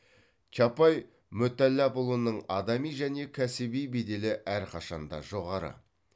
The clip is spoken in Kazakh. чапай мүтәллапұлының адами және кәсіби беделі әрқашанда жоғары